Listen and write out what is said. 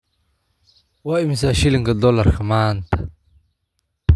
Waa imisa shilinka doolarka maanta?